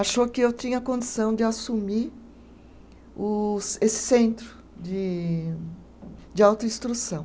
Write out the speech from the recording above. achou que eu tinha condição de assumir o esse centro de de autoinstrução.